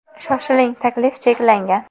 Shoshiling, taklif cheklangan.